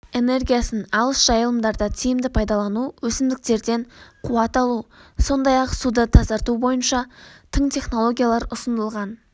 энергиясын алыс жайылымдарда тиімді пайдалану өсімдіктерден қуат алу сондай-ақ суды тазарту бойынша тың технологиялар ұсынылған